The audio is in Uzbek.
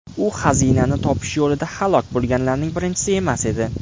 U xazinani topish yo‘lida halok bo‘lganlarning birinchisi emas edi.